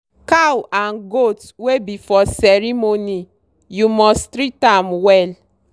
cow and goat wey be for ceremony you must treat am well